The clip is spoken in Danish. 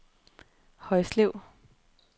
Højslev